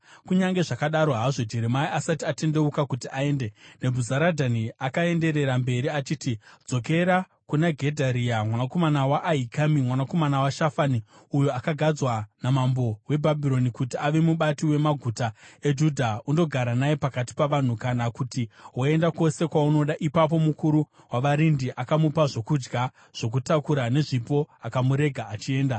Kunyange zvakadaro hazvo, Jeremia asati atendeuka kuti aende, Nebhuzaradhani akaenderera mberi achiti, “Dzokera kuna Gedharia mwanakomana waAhikami, mwanakomana waShafani uyo akagadzwa namambo weBhabhironi kuti ave mubati wemaguta eJudha, undogara naye pakati pavanhu, kana kuti woenda kwose kwaunoda.” Ipapo mukuru wavarindi akamupa zvokudya zvokutakura nezvipo akamurega achienda.